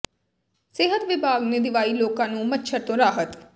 ਸਿਹਤ ਵਿਭਾਗ ਨੇ ਦਿਵਾਈ ਲੋਕਾਂ ਨੂੰ ਮੱਛਰ ਤੋਂ ਰਾਹਤ